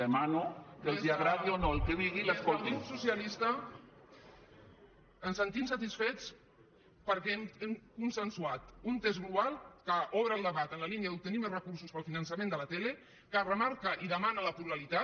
des del grup socialista ens sentim satisfets perquè hem consensuat un text global que obre el debat en la línia d’obtenir més recursos per al finançament de la tele que remarca i demana la pluralitat